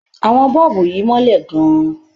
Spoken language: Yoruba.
Àwọn bọ́ọ̀bù yìí mọ́lẹ̀ gan-an.